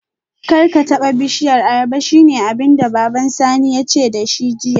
Karka taba bishiyar ayaba shine abinda baban Sani yace dashi jiya